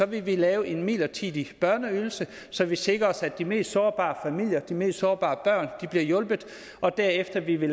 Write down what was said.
vi lave en midlertidig børneydelse så vi sikrer os at de mest sårbare familier de mest sårbare børn bliver hjulpet og derefter vil vi